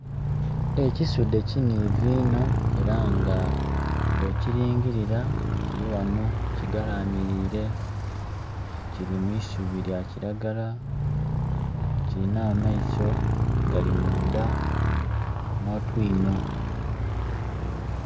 Ekisudhe kinhivu inho era nga bwo kilingilira kili ghano kigalamilire kili mwisubi lya kiragala. Kilina ameiso gali munda no twinho.